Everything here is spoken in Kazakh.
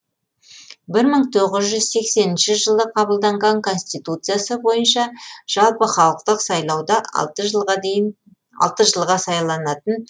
бір мың тоғыз жүз сексенінші жылы қабылданған конституциясы бойынша жалпыхалықтық сайлауда алты жылға сайланатын